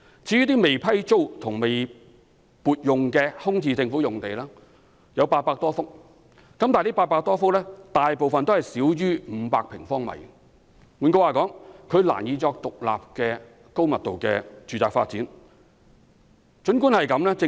至於未批租和未撥用的空置政府用地有800多幅，但這800多幅土地大部分均少於500平方米。換言之，它們難以獨立用作發展高密度住宅。